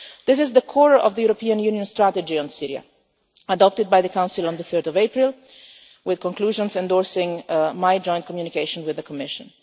This is the core of the European Union's Strategy on Syria, adopted by the Council on 3 April, with conclusions endorsing my joint communication with the Commission.